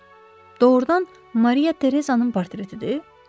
Doğrudan Maria Tereza'nın portretidir?